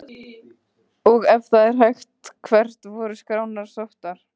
Og ef það er hægt, hvert voru skrárnar sóttar?